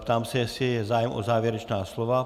Ptám se, jestli je zájem o závěrečná slova.